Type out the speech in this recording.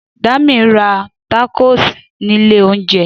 Dami ra tákòs ni ilẹ̀ oúnjẹ